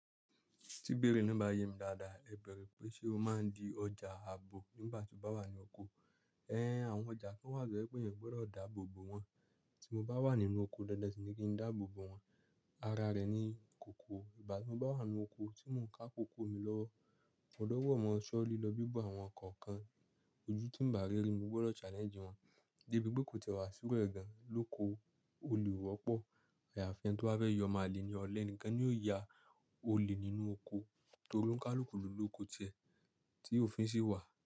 Tí bẹ̀rẹ̀ náà bá yé mi dáadáa, a bẹ̀rẹ̀ pé ṣe o máa ń di ọjà ààbò nígbà tí o bá wà ní oko? Ẹ́n, àwọn ọjà kan wà to jẹ pé eyan gbọdọ̀ dáàbò bo wọn. Tí mo bá wà nínú oko dándán, si ni kí n dáàbò bo wọn. Ara rẹ̀ ni ìkòkò. Ìgbá tí mo bá wà nínú oko tí mò ń ká kòkó mi lọ́wọ, mo gbọdoọ maa sọ lílọ bíbò àwọn kọ̀ọ̀kan. Ojú tí ń bá ri ri, mo gbọdọ̀ challenge wọn dé bí pé kò ti ẹ́ wà si iru ẹ gan. Lóko, olè ò wọ́pọ̀. Àyàfi ẹni tó bá fẹ́ yọ màlè ní ọ̀lẹ́ nìkan ni yóò ya olè nínú oko torí ó ń ká luuku lo lóko ti ẹ, tí òfin sì wà.